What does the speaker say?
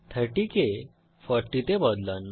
30 কে 40 তে বদলান